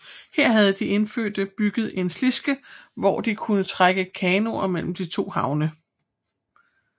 Her havde de indfødte bygget en slidske hvor de kunne trække kanoer mellem de to havne